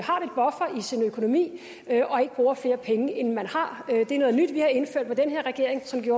sin økonomi og ikke bruger flere penge end man har det er noget nyt vi har indført med den her regering sådan